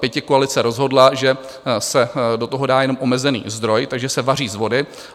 Pětikoalice rozhodla, že se do toho dá jenom omezený zdroj, takže se vaří z vody.